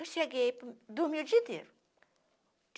Eu cheguei e dormi o dia inteiro.